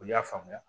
Olu y'a faamuya